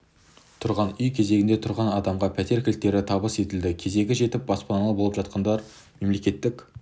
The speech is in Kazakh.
тұрғын үй кезегінде тұрған адамға пәтер кілттері табыс етілді кезегі жетіп баспаналы болып жатқандар мемлекеттік